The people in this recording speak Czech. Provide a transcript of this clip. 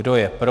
Kdo je pro?